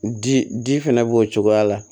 Di ji fɛnɛ b'o cogoya la